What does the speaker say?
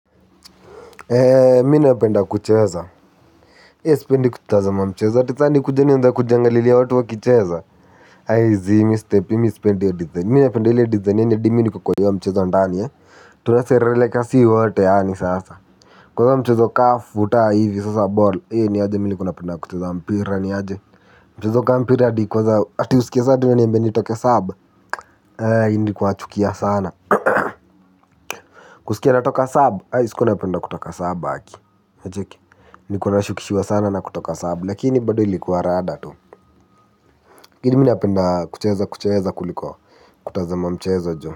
Mimi napenda kucheza sipendi kutazama mchezo ati sasa nikuje nianze kujiangalilia watu wakicheza zii mimi sipendi hiyo design mimi napenda ile design yaani hadi mimi niko kwa hiyo mchezo ndani tunaserereka sisi wote yaani sasa. Kwa hiyo mchezo kama futa hivi sasa ball niaje mimi nilikuwa napenda kucheza mpira niaje mchezo kama mpira hadi kwanza ati usikie sasa ati nitoke sub nilikuwa nachukia sana kusikia natoka sub sikuwa napenda kutoka sub aki unacheki nilikuwa nashukishiwa sana na kutoka sub lakini bado ilikuwa rada tu lakini mimi napenda kucheza kucheza kuliko kutazama mcheza jo.